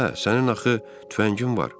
Hə, sənin axı tüfəngin var.